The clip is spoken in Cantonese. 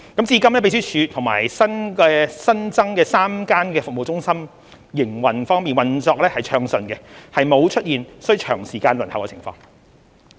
至今秘書處及新增設的3間服務中心均運作暢順，沒有出現需長時間輪候的情況。